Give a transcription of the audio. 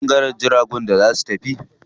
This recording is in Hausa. Akwai ɓangaren jiragun da za su tafi.